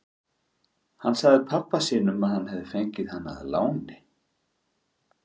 Hann sagði pabba sínum að hann hefði fengið hana að láni.